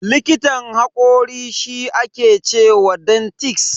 Likitan hakori shi aka ce wa dentist.